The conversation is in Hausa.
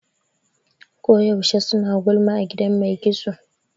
Ko yaushe suna gulma a gidan mai kitson.